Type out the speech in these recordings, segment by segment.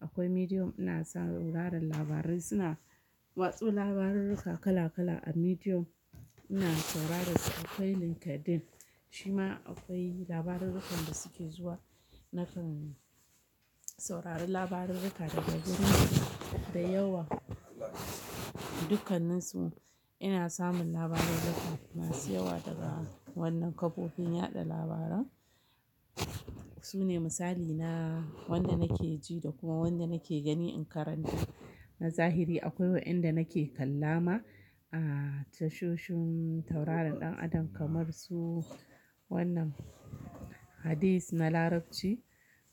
akwai Medium ina sauraron labarai suna watsa labarurruka kala-kala a Medium ina saurara su. Akwai LinkedIn shi ma akwai labarurrukan da suke zuwa nakan saurari labarurruka daga guri da yawa. Dukkanninsu ina samun labarurruka masu yawa daga wannan kafofin yaɗa labaran. Su ne misali na wanda nake ji da kuma wanda nake gani in karanta. Na zahiri akwai waɗanda nake kalla ma a tashoshin tauraron ɗan adam kamar su wannan Hadith na Larabci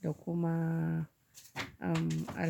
da kuma, um, a.